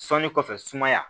Sɔnni kɔfɛ sumaya